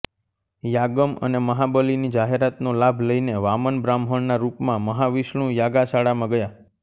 યાગમ અને મહાબલિની જાહેરાતનો લાભ લઇને વામન બ્રાહ્મણના રૂપમાં મહાવિષ્ણુ યાગાશાળામાં ગયા